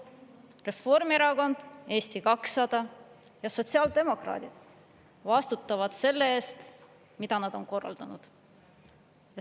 Reformierakond, Eesti 200 ja sotsiaaldemokraadid vastutavad selle eest, mida nad on korraldanud.